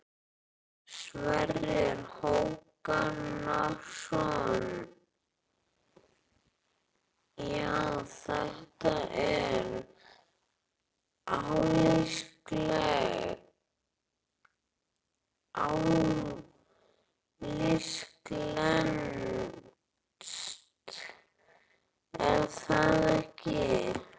Sverrir Hákonarson: Já, þetta er alíslenskt er það ekki?